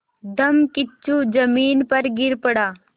धम्मकिच्चू ज़मीन पर गिर पड़ा